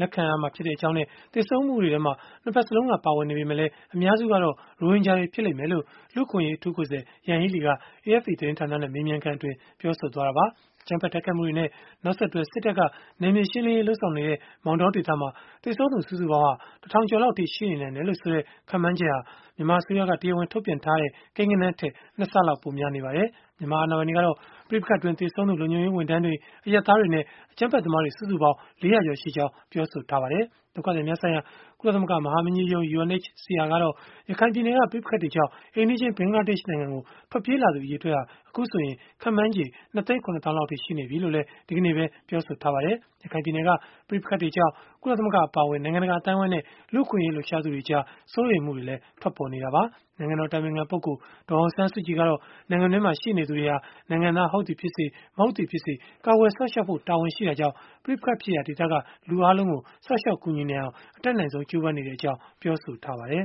လက်ခံကြောင်းနဲ့ သေဆုံးမှုတွေထဲမှာ ၂ ဘက်စလုံးက ပါဝင်နေပေမဲ့ လည်း အများစုကတော့ ရိုဟင်ဂျာတွေ ဖြစ်လိမ့်မယ်လို့ လူ့အခွင့်အရေး အထူးကိုယ်စားလှယ် Yanghee Lee က AFP သတင်းဌာနနဲ့ မေးမြန်းခန်းမှာ ပြောဆိုလိုက်တာပါ။ အကြမ်းဖက် တိုက်ခိုက်မှုတွေနဲ့ နောက်ဆက်တွဲ စစ်တပ်က နယ်မြေရှင်းလင်းရေး လုပ်ဆောင်နေတဲ့ မောင်တောဒေသမှာ သေဆုံးသူ စုစုပေါင်းဟာ တထောင်ကျော်လောက်အထိ ရှိနေနိုင်တယ်လို့ ဆိုတဲ့ ခန့်မှန်းချက်ဟာ မြန်မာအစိုးရက တရားဝင် ထုတ်ပြန်ထားတဲ့ ကိန်းဂဏန်းထက် ၂ ဆလောက် ပိုများနေပါတယ်။ မြန်မာအာဏာပိုင်တွေကတော့ ပဋိပက္ခတွေအတွင်း သေဆုံးသူ လုံခြုံရေးဝန်ထမ်းတွေ၊ အရပ်သားတွေနဲ့ အကြမ်းဖက်သမားတွေ စုစုပေါင်းဟာ ၄၀၀ ကျော်ရှိကြောင်း ပြောဆိုထားပါတယ်။ ဒုက္ခသည်များဆိုင်ရာ ကုလသမဂ္ဂ မဟာမင်းကြီးရုံးကတော့ ရခိုင်ပြည်နယ်က ပဋိပက္ခတွေကြောင့် အိမ်နီးချင်း ဘင်္ဂလားဒေ့ရှ်နိုင်ငံကို ထွက်ပြေးလာသူ အရေအတွက်ဟာ အခုဆိုရင် ခန့်မှန်းချေ ၂ သိန်း ၇ သောင်းလောက်အထိ ရှိနေပြီလို့လည်း ဒီကနေ့ပဲ ပြောဆိုခဲ့ပါတယ်။ ရခိုင်ပြည်နယ်က ပဋိပက္ခတွေကြောင့် ကုလသမဂ္ဂ အပါအဝင် နိုင်ငံတကာ အသိုင်းအဝန်းနဲ့ လူ့အခွင့်အရေး လှုပ်ရှားသူတွေကြား စိုးရိမ်မှုတွေလည်း ထွက်ပေါ်နေတာပါ။ နိုင်ငံတော် အတိုင်ပင်ခံပုဂ္ဂိုလ် ဒေါ်အောင်ဆန်းစုကြည် ကတော့ နိုင်ငံတွင်းမှာ ရှိနေသူတွေဟာ နိုင်ငံသား ဟုတ်သည်ဖြစ်စေ၊ မဟုတ်သည်ဖြစ်စေ ကာကွယ်စောင့်ရှောက်ဖို့ တာဝန်ရှိတာကြောင့်၊ ပဋိပက္ခဖြစ်ရာဒေသက လူအားလုံးကို စောင့်ရှောက်ကူညီနိုင်အောင် အတတ်နိုင်ဆုံး ကြိုးပမ်းနေတဲ့အကြောင်း ပြောဆိုထားပါတယ်